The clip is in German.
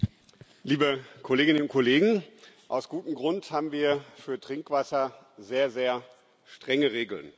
Frau Präsidentin, liebe Kolleginnen und Kollegen! Aus gutem Grund haben wir für Trinkwasser sehr, sehr strenge Regeln.